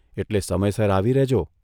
એટલે સમયસર આવી રહેજો '.